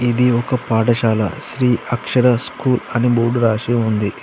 ఇది ఒక పాఠశాల శ్రీ అక్షర స్కూల్ అని బోర్డు రాసి ఉంది.